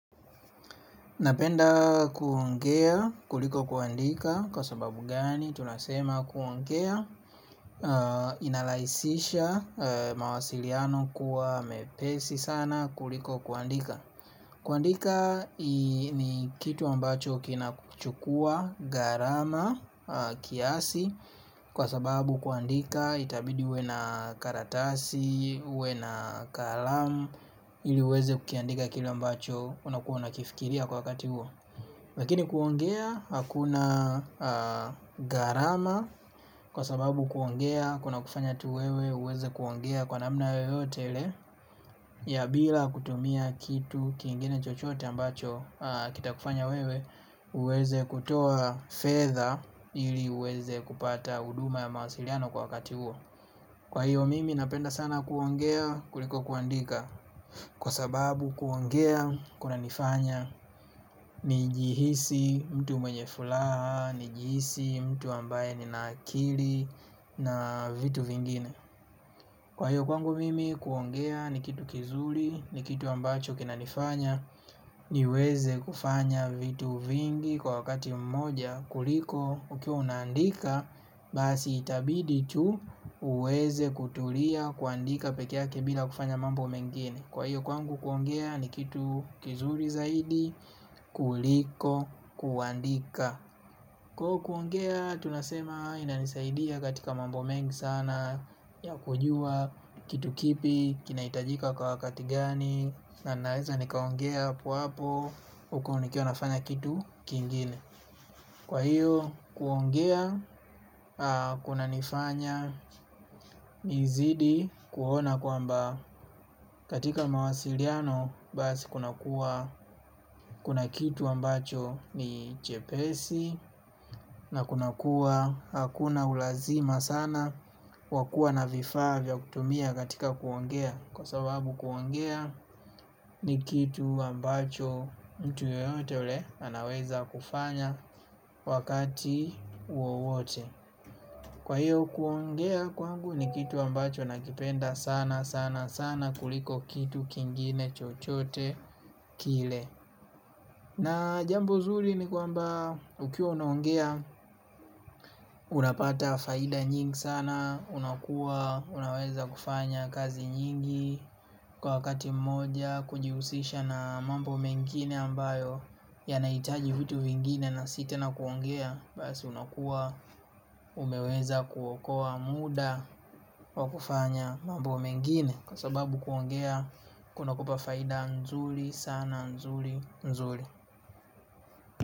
Napenda kuongea kuliko kuandika kwa sababu gani tunasema kuongea inaraisisha mawasiliano kuwa mepesi sana kuliko kuandika. Kuandika ni kitu ambacho kinakuchukua gharama kiasi kwa sababu kuandika itabidi uwe na karatasi, uwe na kalamu ili uweze kukiandika kile ambacho unakuwa unakifikiria kwa wakati huo. Lakini kuongea hakuna gharama kwa sababu kuongea kunakufanya tu wewe uweze kuongea kwa namna yoyote ile. Ya bila kutumia kitu kingine chochote ambacho kitakufanya wewe uweze kutoa fedha ili uweze kupata huduma ya mawasiliano kwa wakati huo. Kwa hiyo mimi napenda sana kuongea kuliko kuandika. Kwa sababu kuongea kunanifanya nijihisi mtu mwenye fulaha. Nijihisi mtu ambaye nina akili na vitu vingine. Kwa hiyo kwangu mimi kuongea ni kitu kizuli ni kitu ambacho kinanifanya niweze kufanya vitu vingi kwa wakati mmoja kuliko ukiwa unaandika. Basi itabidi tu uweze kutulia kuandika peke yake bila kufanya mambo mengine. Kwa hiyo kwangu kuongea ni kitu kizuri zaidi kuliko kuandika. Kwaio kuongea tunasema inanisaidia katika mambo mengi sana. Ya kujua kitu kipi kinahitajika kwa wakati gani. Na naweza nikaongea hapo hapo huko nikiwa nafanya kitu kingine. Kwa hiyo kuongea kunanifanya nizidi kuona kwamba katika mawasiliano basi kuna kitu ambacho ni chepesi na kuna kuwa hakuna ulazima sana wa kuwa na vifaa vya kutumia katika kuongea kwa sababu kuongea ni kitu ambacho mtu yeyote ule anaweza kufanya wakati wowote. Kwa hiyo kuongea kwangu ni kitu ambacho nakipenda sana sana sana kuliko kitu kingine chochote kile. Na jambo zuri ni kwamba ukiwa unaongea unapata faida nyingi sana. Unakuwa unaweza kufanya kazi nyingi kwa wakati mmoja kujihusisha na mambo mengine ambayo yanahitaji vitu vingine na si tena kuongea. Basi unakua umeweza kuokoa muda. Kwa kufanya mambo mengine kwa sababu kuongea kunakupa faida nzuli sana nzuli nzuli.